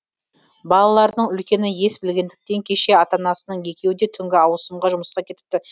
балаларының үлкені ес білгендіктен кеше ата анасының екеуі де түнгі ауысымға жұмысқа кетіпті